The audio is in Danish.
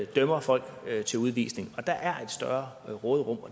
dømmer folk til udvisning der er et større råderum